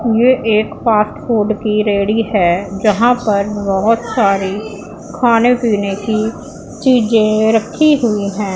यह एक fast food की रेहड़ी है जहां पर बहुत सारे खाने पीने की चीजें रखी हुई हैं।